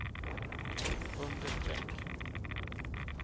understreck